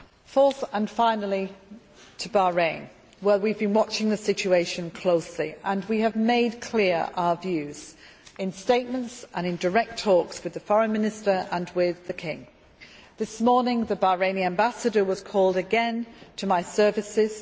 Fourth, and finally, to Bahrain where we have been following the situation very closely and we have made clear our views in statements and in direct talks with the Foreign Minister and with the King. This morning the Bahraini Ambassador was called again to my services.